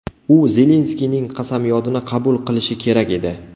U Zelenskiyning qasamyodini qabul qilishi kerak edi.